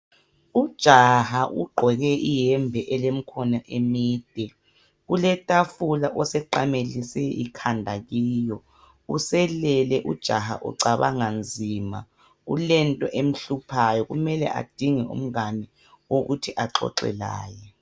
Ujaha ugqoke iyembe elemkhono emide. Kuletafula oseqamelise ikhanda kiyo. Uselele ujaha ucabanga nzima. Kulento emhluphayo, kumele adinge umngane wokuthi axoxe laye.